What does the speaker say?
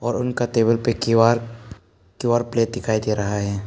और उनका टेबल पे क्यू_आर क्युआरपे दिखाई दे रहा है।